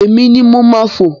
Èmi ni mo máa fo.